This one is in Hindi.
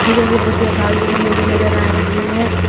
नजर आ रही है।